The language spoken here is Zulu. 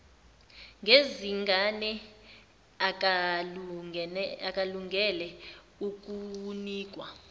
ngezingane akalungele ukunikwa